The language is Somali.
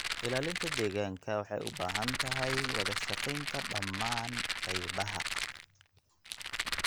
Ilaalinta deegaanku waxay u baahan tahay wada shaqaynta dhammaan qaybaha